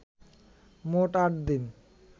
মোট আট দিন